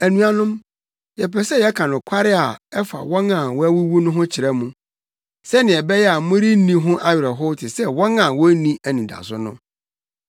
Anuanom, yɛpɛ sɛ yɛka nokware a ɛfa wɔn a wɔawuwu no ho kyerɛ mo, sɛnea ɛbɛyɛ a morenni ho awerɛhow te sɛ wɔn a wonni anidaso no.